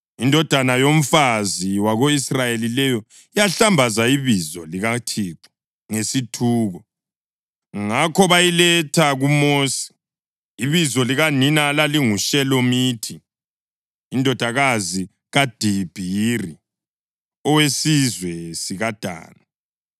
Indodana yomfazi wako-Israyeli leyo yahlambaza ibizo likaThixo ngesithuko. Ngakho bayiletha kuMosi. (Ibizo likanina lalinguShelomithi, indodakazi kaDibhiri, owesizwe sikaDani.)